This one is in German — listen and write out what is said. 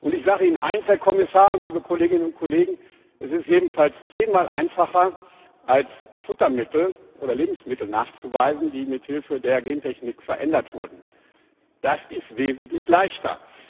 Ich sage Ihnen eines, Herr Kommissar, liebe Kolleginnen und Kollegen Es ist jedenfalls zehnmal einfacher als Futtermittel oder Lebensmittel nachzuweisen, die mit Hilfe der Gentechnik verändert wurden. Das ist wesentlich leichter.